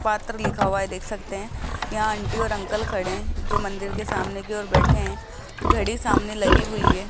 पात्र लिखा हुआ है देख सकते हैं यहां आंटी और अंकल खड़े हैं जो मंदिर के सामने की ओर बैठे हैं घड़ी सामने लगी हुई है।